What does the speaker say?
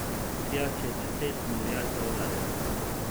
Tja čez deset milijard dolarjev.